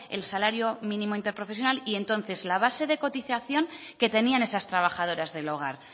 el salario mínimo interprofesional y entonces la base de cotización que tenían esas trabajadoras del hogar